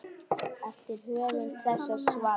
eftir höfund þessa svars.